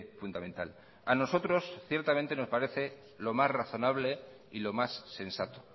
fundamental a nosotros ciertamente nos parece los más razonable y lo más sensato